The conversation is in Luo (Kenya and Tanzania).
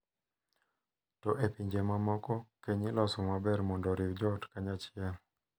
to e pinje mamoko, keny iloso maber mondo oriw joot kanyachiel .